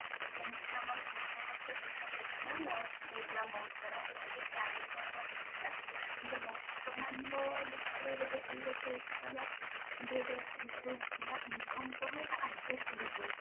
ଯେମିତି କି ଆମର ପୂର୍ବ ବର୍ଷ ଦେଖା ଯାଇଥିଲା loss ହେଇଥିଲା ବହୁତ ସାରା ଯୋଉଟା କି carry forward ହେଇଥିଲା କିନ୍ତୁ ବର୍ତ୍ତମାନ ର ଦେଖିଲେ ଯଦି ଏଇ ବର୍ଷ ଦେଖିବା ଦି ହଜାର ଏକୋଇଶ ରେ ଦେଖିବା income ସହ ଏଇଟା adjust ହେଇଯାଇଛି